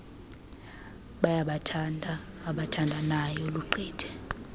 bayabathanda abaabathandayo lugqithe